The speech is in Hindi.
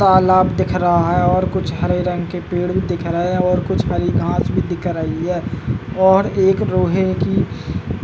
तालाब दिख रहा है और कुछ हरे रंग के पेड़ भी दिख रहे हैं और कुछ हरी घास पर दिख रही है और एक लोहे की --